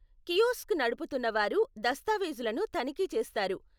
Kiosk నడుపుతున్న వారు దస్తావీజులను తనిఖీ చేస్తారు.